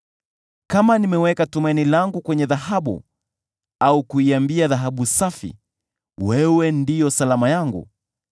“Kama nimeweka tumaini langu kwenye dhahabu, au kuiambia dhahabu safi, ‘Wewe ndiwe salama yangu,’